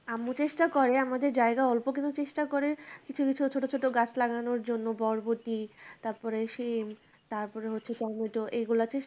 আম্মু চেষ্টা করে আমাদের জায়গা অল্প কিন্তু চেষ্টা করে কিছু কিছু ছোটো ছোটো গাছ লাগানোর জন্য বরবটি তারপরে সেই তারপরে হচ্ছে tomato এইগুলা just